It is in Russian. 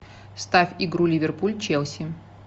ставь игру ливерпуль челси